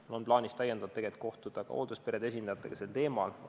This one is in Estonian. Mul on plaanis täiendavalt kohtuda hooldusperede esindajatega sel teemal.